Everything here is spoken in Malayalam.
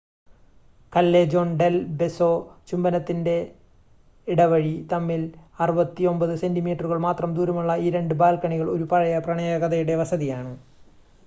കല്ലേജോൺ ഡെൽ ബെസോ ചുംബനത്തിൻറ്റെ ഇടവഴി. തമ്മിൽ 69 സെൻറ്റിമീറ്ററുകൾ മാത്രം ദൂരമുള്ള ഈ 2 ബാൽക്കണികൾ ഒരു പഴയ പ്രണയകഥയുടെ വസതിയാണ്